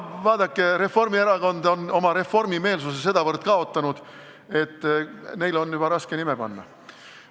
No vaadake, Reformierakond on oma reformimeelsuse sedavõrd kaotanud, et neile on juba raske nime panna.